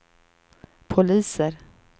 poliser